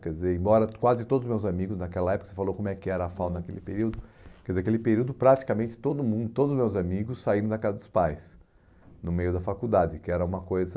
Quer dizer, embora quase todos os meus amigos naquela época, você falou como é que era a fauna naquele período, quer dizer, naquele período praticamente todo mundo, todos os meus amigos saíram da casa dos pais, no meio da faculdade, que era uma coisa...